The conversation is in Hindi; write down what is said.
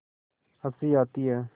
हँसी आती है